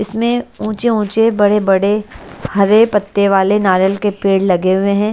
इसमें ऊंचे ऊंचे बड़े बड़े हरे पत्ते वाले नारियल के पेड़ लगे हुए हैं।